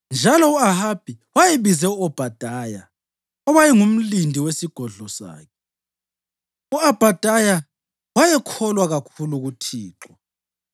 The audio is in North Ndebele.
njalo u-Ahabi wayebize u-Obhadaya, owayengumlindi wesigodlo sakhe. (U-Obhadaya wayekholwa kakhulu kuThixo.